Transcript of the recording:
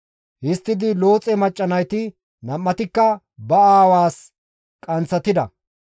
Histtidi Looxe macca nayti nam7atikka ba aawaas qanththatida.